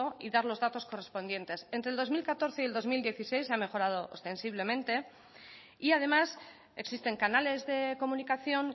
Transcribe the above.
y dar los datos correspondientes entre el dos mil catorce y el dos mil dieciséis ha mejorado ostensiblemente y además existen canales de comunicación